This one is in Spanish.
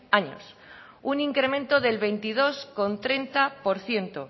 años un incremento del veintidós coma treinta por ciento